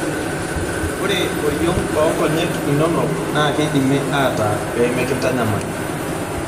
Ore oriong' oo nkonyek inono naa keidimi aatar pee mekintanyamal.